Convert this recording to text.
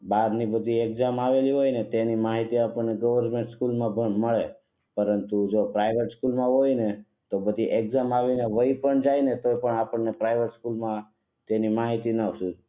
બારની બધી એકઝામ આવેલી હોય ને તેની માહિતી આપણે ગવર્નમેન્ટ સ્કૂલ માં મળે પરંતુ જો પ્રાઇવેટ સ્કૂલ માં હોઉં ને તો નધી એકઝામ આવી ને વૈ પણ જાય તો આપણે પ્રાઇવેટ સ્કૂલ માં તેની માહિતી ના શોધીયે